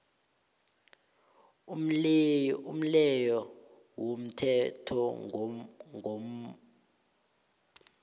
umleyo womthethomgomo wamalimi